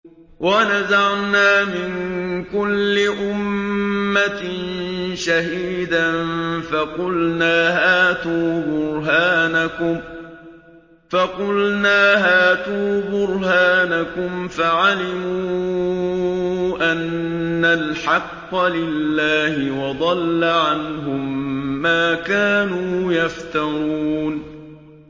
وَنَزَعْنَا مِن كُلِّ أُمَّةٍ شَهِيدًا فَقُلْنَا هَاتُوا بُرْهَانَكُمْ فَعَلِمُوا أَنَّ الْحَقَّ لِلَّهِ وَضَلَّ عَنْهُم مَّا كَانُوا يَفْتَرُونَ